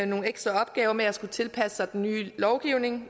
nogle ekstra opgaver med at skulle tilpasse sig den nye lovgivning